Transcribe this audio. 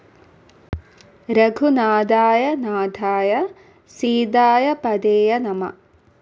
രഘുനാഥായ നാഥായ സീതായപതയേ നമഃ